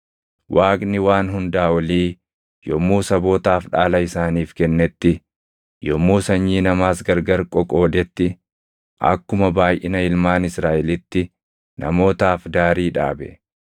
Waaqni Waan Hundaa Olii yommuu sabootaaf dhaala isaaniif kennetti, yommuu sanyii namaas gargar qoqoodetti, akkuma baayʼina ilmaan Israaʼelitti namootaaf daarii dhaabe.